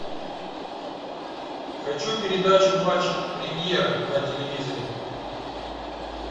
хочу передачу матч премьер на телевизоре